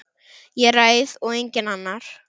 Ég ræð og enginn annar.